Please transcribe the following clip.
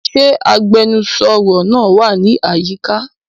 Ṣe agbẹnusọro naa wa ni ayika?